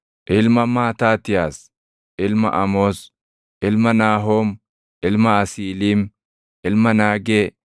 ilma Maataatiyaas, ilma Amoos, ilma Naahoom, ilma Asiiliim, ilma Naagee,